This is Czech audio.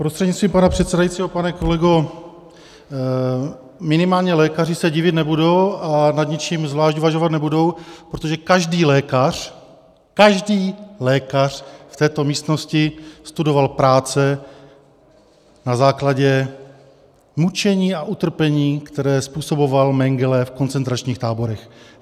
Prostřednictvím pana předsedajícího, pane kolego, minimálně lékaři se divit nebudou a nad ničím zvlášť uvažovat nebudou, protože každý lékař, každý lékař v této místnosti studoval práce na základě mučení a utrpení, které způsoboval Mengele v koncentračních táborech.